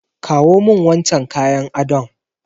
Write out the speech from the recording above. Kawo min wancan kayan adon!